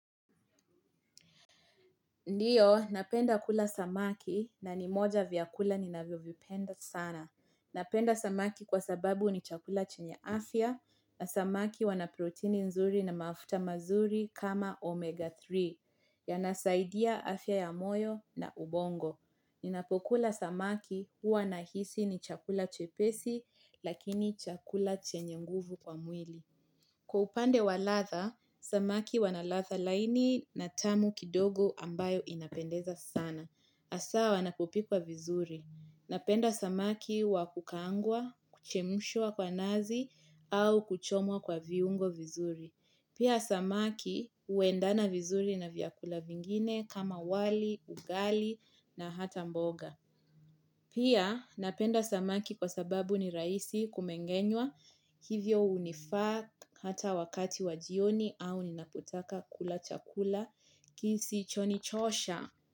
Ndiyo, napenda kula samaki na ni moja vyakula ninavyovipenda sana. Napenda samaki kwa sababu ni chakula chenye afya na samaki wana protini nzuri na mafuta mazuri kama omega 3. Yanasaidia afya ya moyo na ubongo. Ninapokula samaki huwa nahisi ni chakula chepesi lakini chakula chenye nguvu kwa mwili. Kwa upande wa latha, samaki wanalatha laini na tamu kidogo ambayo inapendeza sana. Hasaa wanapopikwa vizuri. Napenda samaki wakukaangwa, kuchemshwa kwa nazi, au kuchomwa kwa viungo vizuri. Pia samaki uendana vizuri na vyakula vingine kama wali, ugali na hata mboga. Pia napenda samaki kwa sababu ni rahisi kumengenywa hivyo hunifaa hata wakati wa jioni au ninapotaka kula chakula kisichonichosha.